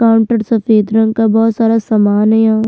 Counter सफेद रंग का बहोत सारा समान है यहाँ।